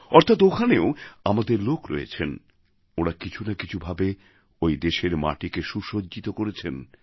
অর্থাৎ ওখানেও আমাদের লোক রয়েছেন ওঁরা কিছু না কিছু ভাবে ওই দেশের মাটিকে সুসজ্জিত করেছেন